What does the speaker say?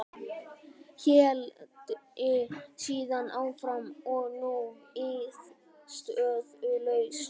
Héldi síðan áfram og nú viðstöðulaust